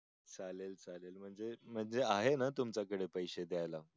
चालेल चालेल म्हणजे आहे ना तुमच्या कडे पैसे द्याल